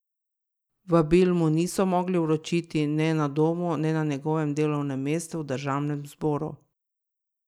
Vabil mu niso mogli vročiti ne na domu ne na njegovem delovnem mestu v državnem zboru.